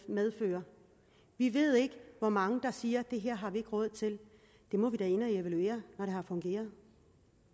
medfører vi ved ikke hvor mange der siger at det her har vi ikke råd til det må vi da ind at evaluere når det har fungeret